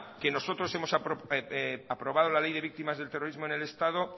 que nosotros hemos aprobado la ley de víctimas del terrorismo en el estado